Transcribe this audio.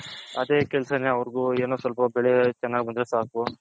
ಅದೇ ಕೆಲಸನು ಅವರ್ಗು ಏನೋ ಸ್ವಲ್ಪ ಬೆಳೆ ಚೆನ್ನಾಗ್ ಬಂದ್ರೆ ಸಾಕು.